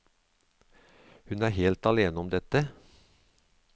Hun er helt alene om dette.